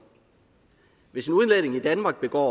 hvis en udlænding i danmark begår